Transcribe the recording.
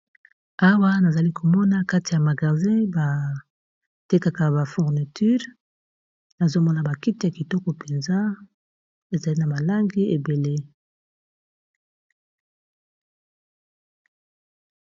Awa nazali komona kati ya magasi ba tekaka ba fourniture nazomona bakite ya kitoko mpenza ezali na balangi ebele.